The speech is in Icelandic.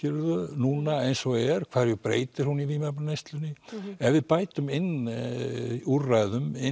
núna eins og er hverju breytir hún í vímefnaneyslunni ef við bætum inn úrræðum inn